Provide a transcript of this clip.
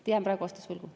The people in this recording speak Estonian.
Jään praegu vastuse võlgu.